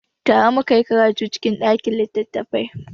Tare mu ka yi karatu cikin ɗakin littattafai.